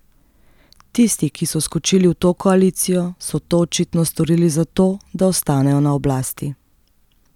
Tisti, ki so skočili v to koalicijo, so to očitno storili zato, da ostanejo na oblasti.